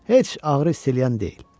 Heç ağrı hiss eləyən deyil.